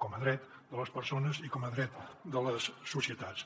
com a dret de les persones i com a dret de les societats